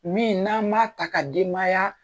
Min n'an b'a ta ka denbaya